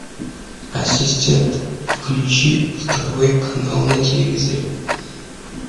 ассистент включи второй канал на телевизоре